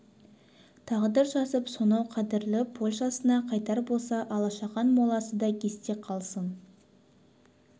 тағдыр жазып сонау қадірлі польшасына қайтар болса алашахан моласы да есте қалсын